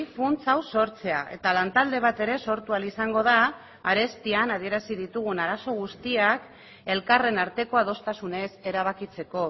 funts hau sortzea eta lan talde bat ere sortu ahal izango da arestian adierazi ditugun arazo guztiak elkarren arteko adostasunez erabakitzeko